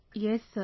Yes sir